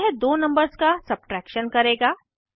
यह दो नंबर्स का सब्ट्रैक्शन करेगा